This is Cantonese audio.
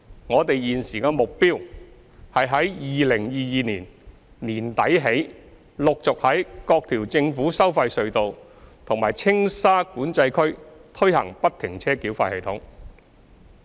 我們現時的目標，是於2022年年底起陸續在各條政府收費隧道和青沙管制區推行不停車繳費系統。